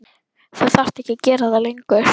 Þú þarft ekki að gera það lengur.